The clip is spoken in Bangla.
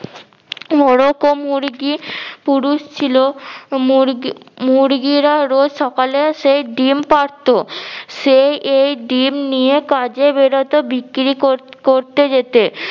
মোরগ ও মুরগি পুরুষ ছিল। মুরগি মুরগিরা রোজ সকালে সেই ডিম পারতো সে এই ডিম নিয়ে কাজে বেরোতো বিক্রি কর~ করতে যেতে